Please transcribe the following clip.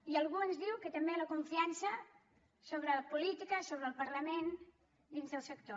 i algú ens diu que també la confiança sobre la política sobre el parlament dins del sector